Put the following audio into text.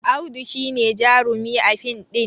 Audu shi ne jarumi a fin ɗin